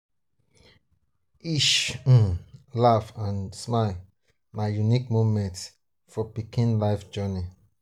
each um laugh and smile na unique moment for pikin life journey.